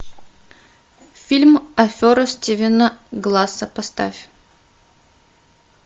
фильм афера стивена гласса поставь